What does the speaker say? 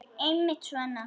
Einmitt svona.